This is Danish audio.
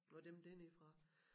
Og dem dernedefra